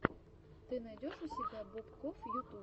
ты найдешь у себя бобкофф ютуб